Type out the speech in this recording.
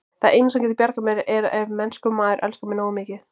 Það eina, sem getur bjargað mér, er ef mennskur maður elskar mig nógu mikið.